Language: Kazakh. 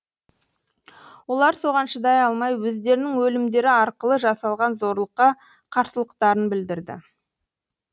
олар соған шыдай алмай өздерінің өлімдері арқылы жасалған зорлыққа қарсылықтарын білдірді